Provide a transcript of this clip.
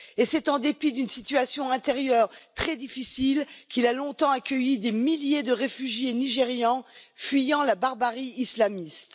Et c'est en dépit d'une situation intérieure très difficile qu'il a longtemps accueilli des milliers de réfugiés nigérians fuyant la barbarie islamiste.